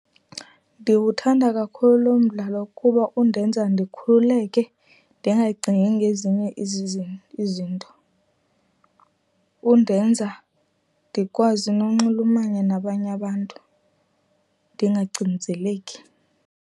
Ndiwuthanda kakhulu lo mdlalo kuba undenza ndikhululeke ndingacingi ngezinye izinto. Undenza ndikwazi nonxulumana nabanye abantu, ndingacinzeleki.